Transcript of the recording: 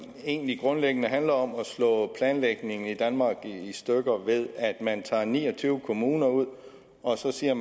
egentlig grundlæggende handler om at slå planlægningen i danmark i stykker ved at man tager ni og tyve kommuner ud og så siger